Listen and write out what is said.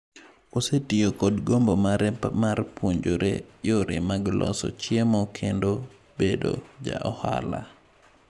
Osetiyo kod gombo mare mar puonjore yore mag loso chiemo kendo bedo ja ohala.